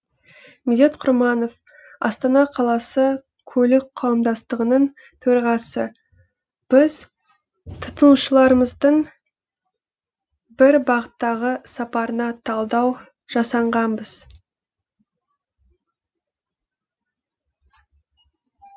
медет құрманов астана қаласы көлік қауымдастығының төрағасы біз тұтынушыларымыздың бір бағыттағы сапарына талдау жасағанбыз